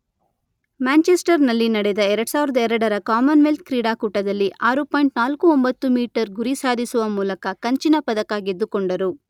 Manchester ನಲ್ಲಿ ನಡೆದ ಎರಡು ಸಾವಿರದ ಎರಡರ ಕಾಮನ್ ವೆಲ್ತ್ ಕ್ರೀಡಾಕೂಟದಲ್ಲಿ ಆರು ಪಾಯಿಂಟ್ ನಾಲ್ಕು ಒಂಬತ್ತು ಮೀಟರ್ ಗುರಿ ಸಾಧಿಸುವ ಮೂಲಕ ಕಂಚಿನ ಪದಕ ಗೆದ್ದುಕೊಂಡರು.